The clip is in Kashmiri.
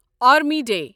army day